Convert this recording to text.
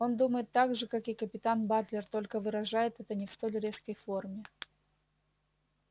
он думает так же как и капитан батлер только выражает это не в столь резкой форме